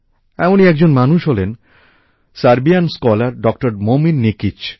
এমনই একজন মানুষ হলেন সার্বিয়ান স্কলার ডক্টর মোমির নিকিচ